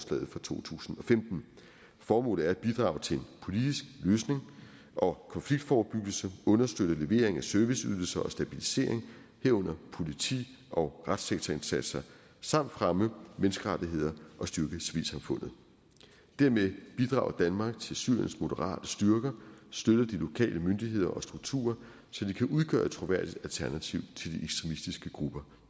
to tusind og femten formålet er at bidrage til en politisk løsning og konfliktforebyggelse understøtte levering af serviceydelser og stabilisering herunder politi og retssektorindsatser samt fremme menneskerettigheder og styrke civilsamfundet dermed bidrager danmark til syriens moderate styrker og støtter de lokale myndigheder og strukturer så de kan udgøre et troværdigt alternativ til de ekstremistiske grupper